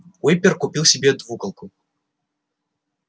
уимпер купил себе двуколку